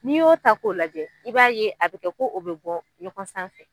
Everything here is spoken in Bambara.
N'i y'o ta k'o lajɛ i b'a ye a bɛ kɛ ko o bɛ bɔ ɲɔgɔn sanfɛ.